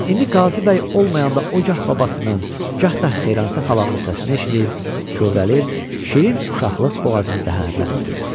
İndi Qazıbəy olmayanda o gah babasının, gah da Xeyransa xalanın səsini eşidir, kövrəlir, şirin uşaqlıq boğazını qəhərləndirirdi.